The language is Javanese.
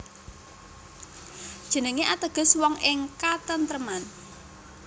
Jenengé ateges wong ing katentreman